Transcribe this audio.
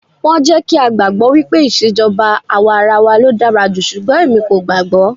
Wọ́n jẹ́ kí á gbàgbọ́ wípé ìṣèjọba àwarawa ló dára jù, ṣùgbọ́n èmi kò gbàágbọ́.